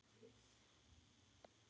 Þetta sé því stórt skref.